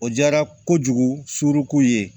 O diyara kojugu suruku ye